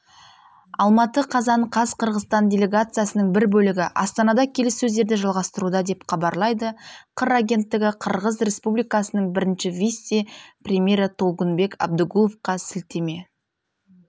алматы қазан қаз қырғызстан делегациясының бір бөлігі астанада келіссөздерді жалғастыруда деп хабарлайды қыр агенттігі қырғыз республикасының бірінші вице-премьері толкунбек абдыгуловқа сілтеме